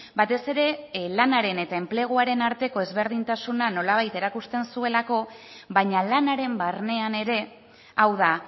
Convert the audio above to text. batez ere lanaren eta enpleguaren arteko ezberdintasuna nola bait erakusten zuelako baina lanaren barnean ere hau da